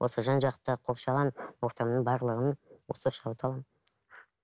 осы жан жақты қоршаған ортамның барлығын осы шабыт аламын